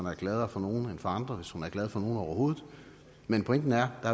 er gladere for nogle end for andre hvis hun er glad for nogen af dem overhovedet men pointen er at